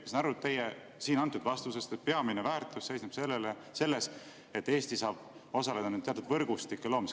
Ma sain teie antud vastusest aru, et peamine väärtus seisneb selles, et Eesti saab osaleda teatud võrgustike loomises.